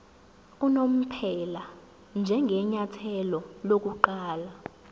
unomphela njengenyathelo lokuqala